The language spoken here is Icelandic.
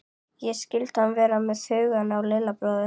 Ég skildi að hann var með hugann við Lilla bróður.